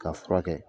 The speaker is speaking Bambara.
K'a furakɛ